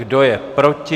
Kdo je proti?